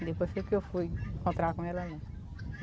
Depois que eu fui encontrar com ela lá.